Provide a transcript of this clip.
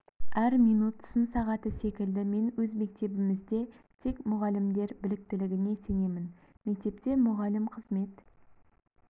әр минут сын сағаты секілді мен өз мектебімізде тек мұғалімдер біліктілігіне сенемін мектепте мұғалім қызмет